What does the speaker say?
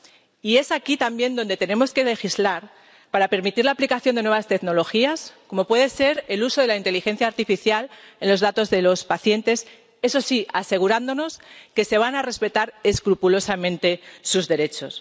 Y es aquí, también, donde tenemos que legislar para permitir la aplicación de nuevas tecnologías, como puede ser el uso de la inteligencia artificial en los datos de los pacientes, eso sí, asegurándonos de que se van a respetar escrupulosamente sus derechos.